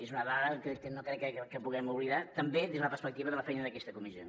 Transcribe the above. és una dada que no crec que puguem oblidar també des de la perspectiva de la feina d’aquesta comissió